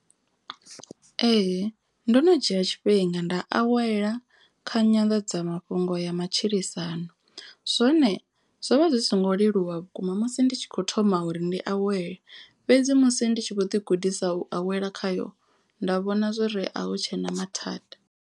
Ee ndo no dzhia tshifhinga nda awela kha nyanḓadzamafhungo ya matshilisano. Zwone zwo vha zwi songo leluwa vhukuma musi ndi tshi kho thoma uri ndi awela. Fhedzi musi ndi tshi vho ḓi gudisa u awela khayo nda vhona zwori a hu tshena mathada.